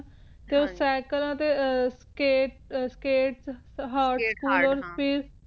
ਤੇ ਹੋਟਲ ਕਾਫੀ ਸੀ ਗੇ ਨਾ ਤੇ ਸਾਈਕਲਾਂ ਤੇ ਸਕਤੇਹੁਤ ਹਨ